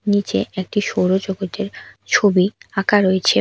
নীচে একটি সৌরজগতের ছবি আঁকা রয়েছে।